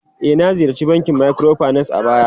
E, na ziyarci bankin microfinance a baya.